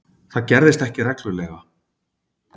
Það gerðist ekki reglulega.